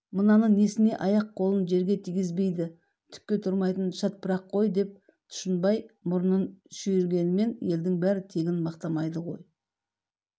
мынаны несіне аяқ-қолын жерге тигізбейді түкке тұрмайтын шатпырақ қой деп тұшынбай мұрынын шүйрігенмен елдің бәрі тегін мақтамайды ғой